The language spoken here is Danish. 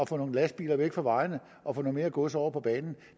få nogle lastbiler væk fra vejene og få noget mere gods over på bane